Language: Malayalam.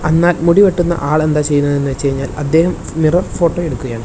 അന്നാൽ മുടി വെട്ടുന്ന ആൾ എന്താ ചെയ്യുന്നത് എന്ന് വെച്ച് കഴിഞ്ഞാൽ അദ്ദേഹം മിറർ ഫോട്ടോ എടുക്കുകയാണ്.